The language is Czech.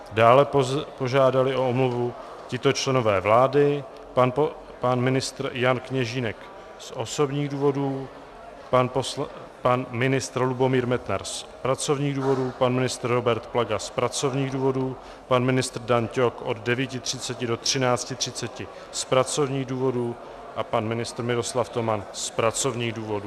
Dále požádali o omluvu tito členové vlády: pan ministr Jan Kněžínek z osobních důvodů, pan ministr Lubomír Metnar z pracovních důvodů, pan ministr Robert Plaga z pracovních důvodů, pan ministr Dan Ťok od 9.30 do 13.30 z pracovních důvodů a pan ministr Miroslav Toman z pracovních důvodů.